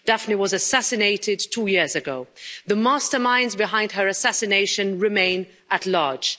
Daphne was assassinated two years ago. The masterminds behind her assassination remain at large.